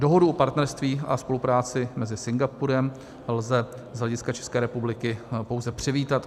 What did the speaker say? Dohodu o partnerství a spolupráci mezi Singapurem lze z hlediska České republiky pouze přivítat.